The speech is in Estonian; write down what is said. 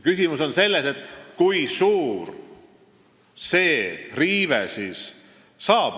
Küsimus on selles, kui suur see riive siis on.